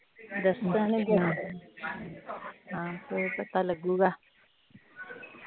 ਦਸਣਗੇ ਆਹੋ ਫਿਰ ਪਤਾ ਲੱਗੂਗਾ